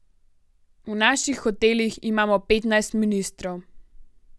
V naših hotelih imamo petnajst ministrov.